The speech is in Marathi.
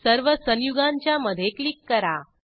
सर्व संयुगांच्या मधे क्लिक करा